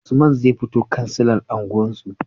Usman zai fito kansilan unguwar su